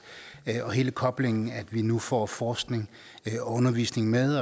hele koblingen med at vi nu får forskning og undervisning med